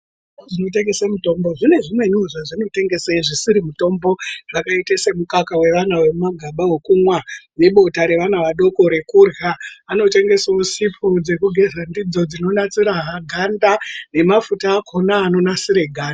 Zvitoro zvinotengese mitombo zvine zvimwenivo zvisiri mitombo zvakaita semukaka vevana vemumagaba vemwa nebota revana rekumwa. Vanotengesevo sipo dzekugeza dzidzo dzinonasira ganda nemafuta akona anonasira ganda.